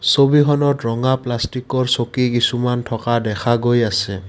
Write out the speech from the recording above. ছবিখনত ৰঙা প্লাষ্টিকৰ চকী কিছুমান থকা দেখা গৈ আছে।